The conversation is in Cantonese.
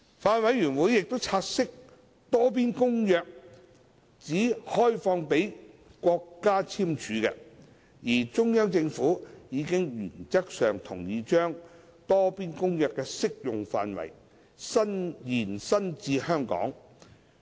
法案委員會察悉，《多邊公約》只開放予國家簽署，而中央政府已原則上同意把《多邊公約》的適用範圍延伸至香港。